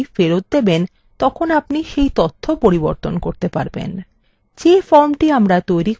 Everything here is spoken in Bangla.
যে ফর্মটি আমরা তৈরী করতে চলেছি তার একটি নমুনা এখানে দেখা যাচ্ছে